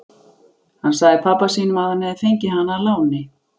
Hann sagði pabba sínum að hann hefði fengið hana að láni.